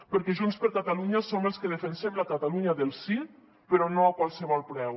perquè junts per catalunya som els que defensem la catalunya del sí però no a qualsevol preu